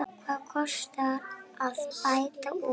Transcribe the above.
Hvað kostar að bæta úr?